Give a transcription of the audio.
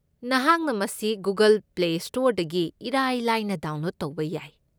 ꯅꯍꯥꯛꯅ ꯃꯁꯤ Google Play ꯁ꯭ꯇꯣꯔꯗꯒꯤ ꯏꯔꯥꯏ ꯂꯥꯏꯅ ꯗꯥꯎꯟꯂꯣꯗ ꯇꯧꯕ ꯌꯥꯏ꯫